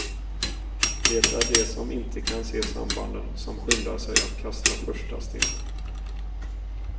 Det är de som inte kan se sambanden som skyndar sig att kasta första stenen.